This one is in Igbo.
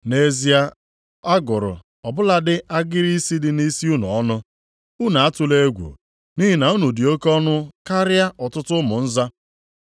Nʼezie a gụrụ ọ bụladị agịrị isi dị nʼisi unu ọnụ. Unu atụla egwu, nʼihi na unu dị oke ọnụ karịa ọtụtụ ụmụ nza.